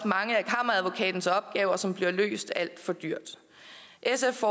mange af kammeradvokatens opgaver som bliver løst alt for dyrt sf